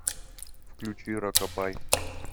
включи рокабай